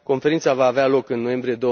Conferința va avea loc în noiembrie